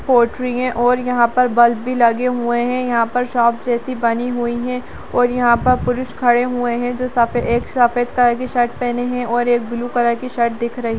पोटरी हैं और यहाँ पर बल्ब भी लगे हुए हैं यहाँ पर शॉप जैसी बनी हुई हैं और यहाँ पर पुरुष खड़े हुए हैं जो सफे एक सफ़ेद कलर की शर्ट पहने हैं और एक ब्लू कलर की शर्ट दिख रही --